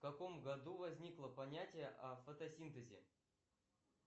в каком году возникло понятие о фотосинтезе